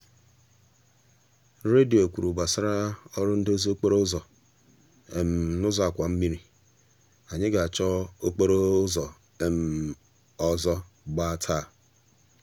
redio kwuru gbasara ọrụ ndozi okporo ụzọ n'ụzọ àkwàmmiri anyị ga-achọ okporo um ụzọ um ọzọ gba taa. um